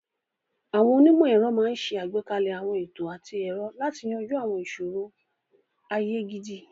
Àwọn onímọ̀-ẹ̀rọ máa ń ṣe àgbékalẹ̀ àwọn ètò àti ẹ̀rọ láti yanjú àwọn ìṣòro ayé gidi.